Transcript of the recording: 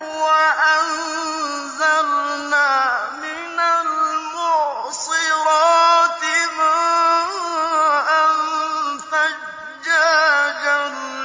وَأَنزَلْنَا مِنَ الْمُعْصِرَاتِ مَاءً ثَجَّاجًا